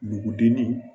Nugudennin